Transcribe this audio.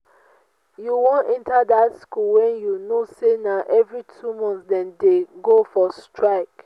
you wan enter dat school wen you know say na every two months dem dey go for strike